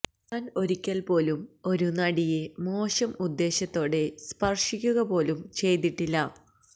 താൻ ഒരിക്കൽ പോലും ഒരു നടിയെ മോശം ഉദ്ദേശത്തോടെ സ്പർശിക്കക പോലും ചെയ്തിട്ടില്ല